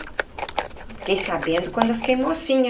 Fiquei sabendo quando eu fiquei mocinha.